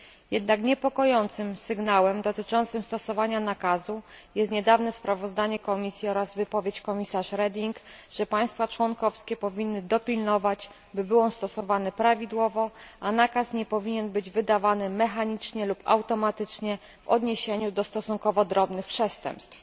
Jednak niepokojącym sygnałem dotyczącym stosowania nakazu jest niedawne sprawozdanie Komisji oraz wypowiedź komisarz Reding, że państwa członkowskie powinny dopilnować, by był on stosowany prawidłowo, a nakaz nie powinien być wydawany mechanicznie lub automatycznie w odniesieniu do stosunkowo drobnych przestępstw.